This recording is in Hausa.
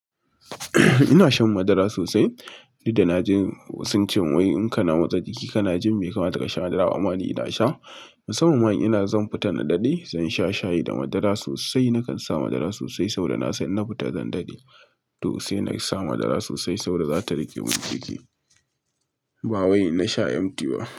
Ina shan madara sosai. Ni da na ji wasu sun ce wai in kana motsa jiki, kana jin mai bai kama ta ka sha madara. Amma ni ina sha. Saboda ma ina zan fita na daɗe, zan sha shayi da madara sosai. Nakan sa madara sosai saboda nasan innafita zan dade to sai na sa madara sosai saboda za ta rage min jiki. Ba wai na sha MT ba.